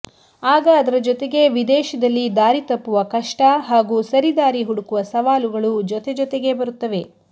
ಆಗ ಅದರ ಜೊತೆಗೆ ವಿದೇಶದಲ್ಲಿ ದಾರಿ ತಪ್ಪುವ ಕಷ್ಟ ಹಾಗೂ ಸರಿದಾರಿ ಹುಡುಕುವ ಸವಾಲುಗಳು ಜೊತೆಜೊತೆಗೇ ಬರುತ್ತವೆ